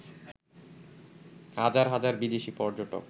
হাজার হাজার বিদেশি পর্যটক